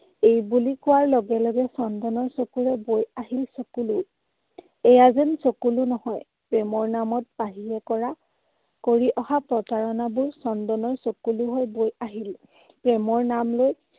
এইবুলি কোৱাৰ লগে লগে চন্দনৰ চকুৰে বৈ আহিল চকুলো। এইয়া যেন চকুলো নহয়, প্ৰেমৰ নামত পাহিয়ে কৰা কৰি অহা প্ৰতাৰণাবোৰ চন্দনৰ চকুলো হৈ বৈ আহিল। প্ৰেমৰ নাম লৈ